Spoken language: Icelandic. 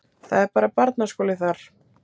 Það er bara barnaskóli þar.